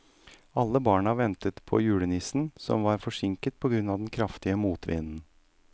Alle barna ventet på julenissen, som var forsinket på grunn av den kraftige motvinden.